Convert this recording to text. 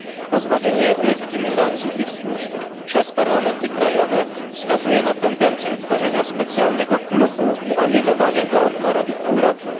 Pozbawienie legitymizacji tych służb przez parlamenty krajowe wskazuje na tendencje tworzenia specjalnego klubu i alienowania go od narodów Europy.